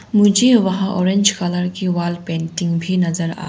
मुझे वहाँ orange colour की वॉल पेंटिंग भी नजर आ--